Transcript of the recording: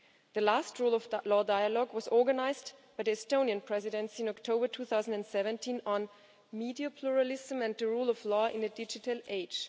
The last rule of law dialogue was organised by the Estonian Presidency in October 2017 on media pluralism and the rule of law in a digital age.